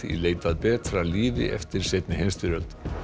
í leit að betra lífi eftir seinna stríð